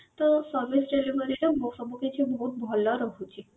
ତ service delivery ର ସବୁ କିଛି ବହୁତ ଭଲ ରହୁଛି